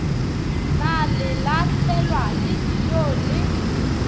na lelahlelwa le ijoo le